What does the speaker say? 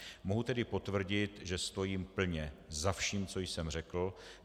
Mohu tedy potvrdit, že stojím plně za vším, co jsem řekl.